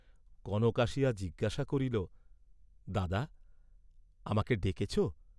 কনক আসিয়া জিজ্ঞাসা করিল, "দাদা, আমাকে ডেকেছ?"